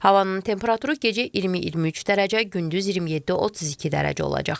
Havanın temperaturu gecə 20-23 dərəcə, gündüz 27-32 dərəcə olacaq.